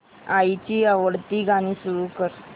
आईची आवडती गाणी सुरू कर